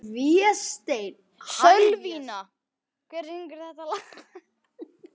Sölvína, hver syngur þetta lag?